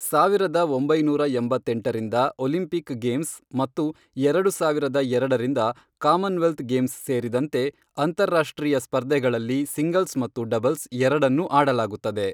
ಸಾವಿರದ ಒಂಬೈನೂರ ಎಂಬತ್ತೆಂಟರಿಂದ ಒಲಿಂಪಿಕ್ ಗೇಮ್ಸ್ ಮತ್ತು ಎರಡು ಸಾವಿರದ ಎರಡರಿಂದ ಕಾಮನ್ವೆಲ್ತ್ ಗೇಮ್ಸ್ ಸೇರಿದಂತೆ ಅಂತಾರಾಷ್ಟ್ರೀಯ ಸ್ಪರ್ಧೆಗಳಲ್ಲಿ ಸಿಂಗಲ್ಸ್ ಮತ್ತು ಡಬಲ್ಸ್ ಎರಡನ್ನೂ ಆಡಲಾಗುತ್ತದೆ.